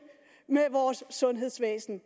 med vores sundhedsvæsen